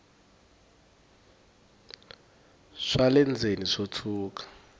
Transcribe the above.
swa le ndzeni swo tshuka